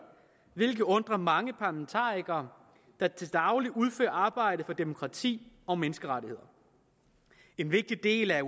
hvilket undrer mange parlamentarikere der til daglig udfører arbejde for demokrati og menneskerettigheder en vigtig del af